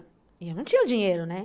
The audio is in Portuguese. E eu não tinha o dinheiro, né?